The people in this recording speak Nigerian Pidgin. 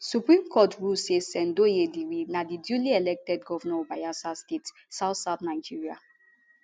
supreme court rule say sen douye diri na di duly elected govnor of bayelsa state southsouth nigeria